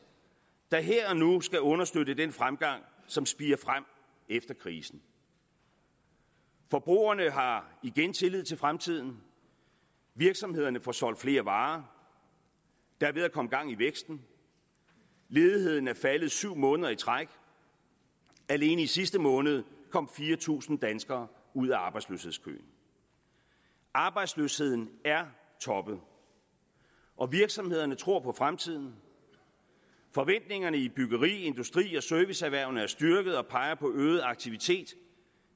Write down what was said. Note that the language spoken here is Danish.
der her og nu skal understøtte den fremgang som spirer frem efter krisen forbrugerne har igen tillid til fremtiden virksomhederne får solgt flere varer der er ved at komme gang i væksten ledigheden er faldet syv måneder i træk alene i sidste måned kom fire tusind danskere ud af arbejdsløshedskøen arbejdsløsheden er toppet og virksomhederne tror på fremtiden forventningerne i byggeri industri og serviceerhverv er styrket og peger på øget aktivitet